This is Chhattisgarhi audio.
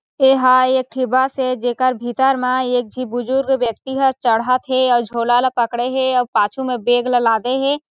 एह एक ठे बस हे जेकर भीतर मा एक झे बुजुर्ग व्यक्ति ह चढ़ात हे आओ झोला ला पकडे हे आओ पाछू मा बैग ला लादे हे।